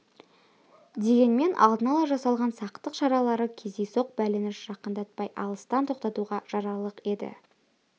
дегенмен алдын ала жасалған сақтық шаралары кездейсоқ бәлені жақындатпай алыстан тоқтатуға жарарлық еді